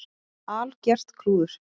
Algert klúður.